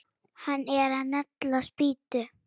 Hann er að negla spýtu.